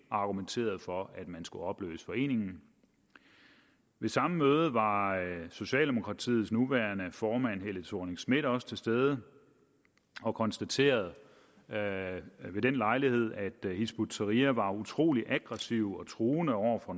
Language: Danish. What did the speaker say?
argumenterede for at man skulle opløse foreningen ved samme møde var socialdemokratiets nuværende formand fru helle thorning schmidt også til stede og konstaterede ved den lejlighed at hizb ut tahrir var utrolig aggressiv og truende over for